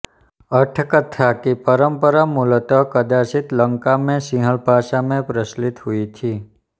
अट्ठकथा की परंपरा मूलतः कदाचित् लंका में सिंहल भाषा में प्रचलित हुई थी